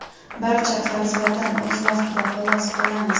barcha qarzlardan o‘z vaqtida xalos bo‘lamiz.